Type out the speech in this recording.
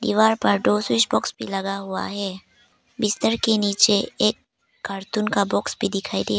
दीवार पर दो स्विच बॉक्स भी लगा हुआ है बिस्तर के नीचे एक कार्टून का बॉक्स भी दिखाई दे--